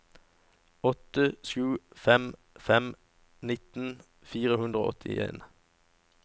åtte sju fem fem nittien fire hundre og åttien